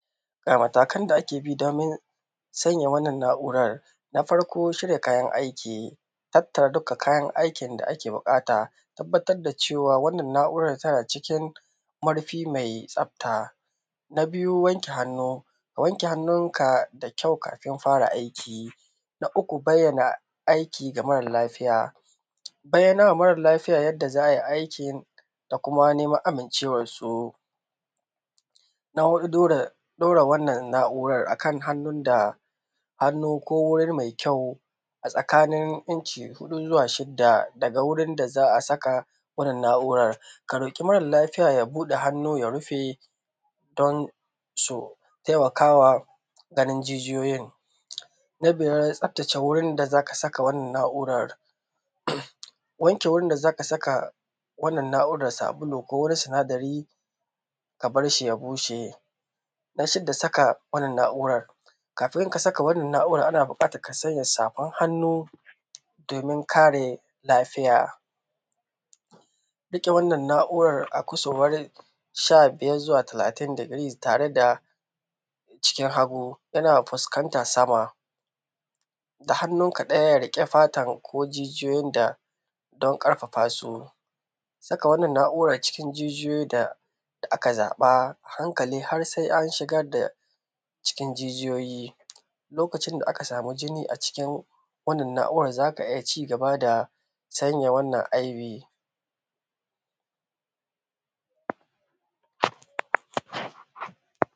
Ga matakan da ake bi domin sanya wannan na’u’ran: Na farko shirya kayan aiki, tattara duka kayan aikin da ake buƙata, a tabbatar da cewa wannan na’uran tana cikin murfi mai tsafta. Na biyu wanke hannu, ka wanke hannunka da kyau kafin fara aiki. Na uku bayyana aiki ga marar lafiya, bayyanawa mara lafiya yanda za a yi aikin da kuma neman amincewar su. Na huɗu dora, ɗora wannan na’u’rar akan hannun da, hannu ko wuri mai kyau a tsakanin inci huɗu zuwa shidda daga wurin da za a saka wannan na’u’rar. Ka roƙi mara lafiya ya buɗe hannun ya rufe don su taimakawa ganin jijiyoyin, na biyar tsaftace wurin da za ka saka wannan na’uran; wanke wurin da za ka saka wannan na’u’ran da sabulu ko wani sinadari ka barshi ya bushe. Na shidda saka wannan na’urar; kafin ka saka wannan na’urar ana buƙatan ka saka safan hannu domin kare lafiya. Riƙe wannan na’uran a ƙasurwan sha-biyar zuwa talatin decrees tare da cikin hagu yana fuskantan sama, da hannunka ɗaya riƙe fata ko jijiyoyin da don ƙarfafa su, saka wannan na’uran cikin jijiyoyin da aka zaɓa, a hankali har sai an shigar da cikin jijiyoyi. Lokacin da aka samu jini acikin wannan na’uran za ka iya ci-gaba da sanya wannan IV.